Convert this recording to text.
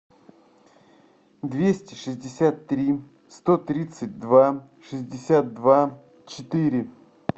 двести шестьдесят три сто тридцать два шестьдесят два четыре